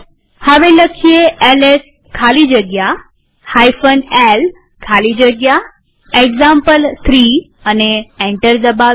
હવે એલએસ ખાલી જગ્યા l ખાલી જગ્યા એક્ઝામ્પલ3 લખી એન્ટર દબાવીએ